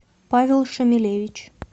павел шамилевич